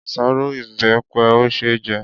Àṣárọ́ ìbẹpẹ ò ṣe é jẹ.